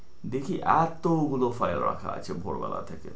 দেখি এতগুলো file রাখা আছে ভোরবেলা থেকে।